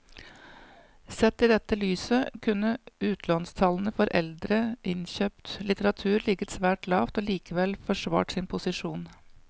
Sett i dette lyset kunne utlånstallene for eldre innkjøpt litteratur ligget svært lavt og likevel forsvart sin posisjon.